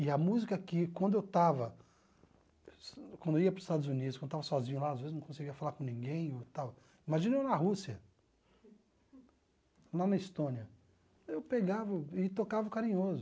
E a música que, quando eu estava, quando eu ia para os Estados Unidos, quando eu estava sozinho lá, às vezes não conseguia falar com ninguém, e tal imagina eu na Rússia, lá na Estônia, eu pegava e tocava o Carinhoso.